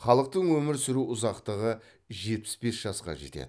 халықтың өмір сүру ұзақтығы жетпіс бес жасқа жетеді